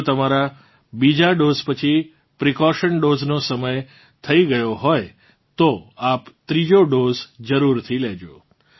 જો તમારા બીજો ડોઝ પછી પ્રિકોશન ડોઝ નો સમય થઇ ગયો હોય તો આપ ત્રીજો ડોઝ જરૂરથી લેજો